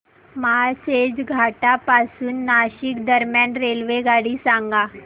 माळशेज घाटा पासून नाशिक दरम्यान रेल्वेगाडी सांगा